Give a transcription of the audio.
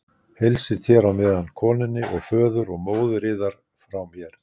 Heilsið þér á meðan konunni og föður og móðir yðar frá mér.